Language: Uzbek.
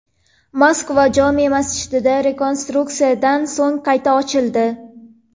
Moskva jome’ masjidi rekonstruksiyadan so‘ng qayta ochildi.